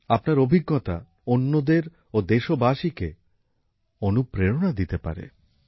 আপনার অভিজ্ঞতা অন্যদের ও দেশবাসীকে অনুপ্রেরণা দিতে পারে